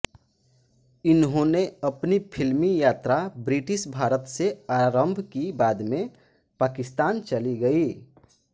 इन्होंने अपनी फिल्मी यात्रा ब्रिटिश भारत से आरंभ की बाद में पाकिस्तान चली गयीं